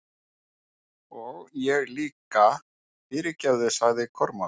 Og ég líka, fyrirgefðu, sagði Kormákur.